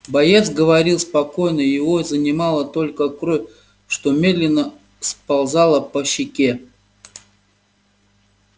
боец говорил спокойно его занимала только кровь что медленно сползала по щеке